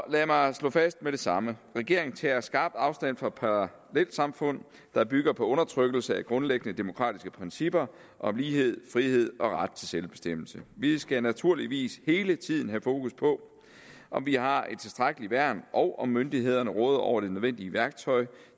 lad mig slå fast med det samme regeringen tager skarpt afstand fra parallelsamfund der bygger på undertrykkelse af grundlæggende demokratiske principper om lighed frihed og ret til selvbestemmelse vi skal naturligvis hele tiden have fokus på om vi har et tilstrækkeligt værn og om myndighederne råder over det nødvendige værktøj